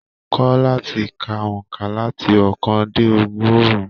Kọ láti kà óńka láti ookan dé ọgọrun!